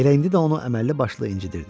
Elə indi də onu əməlli başlı incitirdi.